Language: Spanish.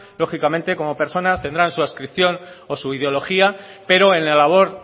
lógicamente como personas tendrán su adscripción o su ideología pero en la labor